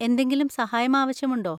എന്തെങ്കിലും സഹായം ആവശ്യമുണ്ടോ?